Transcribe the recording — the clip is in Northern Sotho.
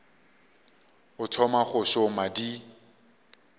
o thoma go šoma di